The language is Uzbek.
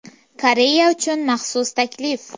Koreya uchun maxsus taklif.